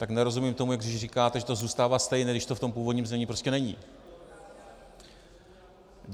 Tak nerozumím tomu, jak říkáte, že to zůstává stejné, když to v tom původním znění prostě není.